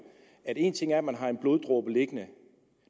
at én ting er at man har en bloddråbe liggende